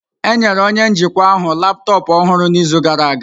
Enyere onye njikwa ahụ laptọọpụ ọhụrụ n'izu gara aga.